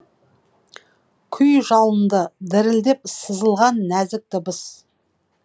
күй жалынды дірілдеп сызылған нәзік дыбыс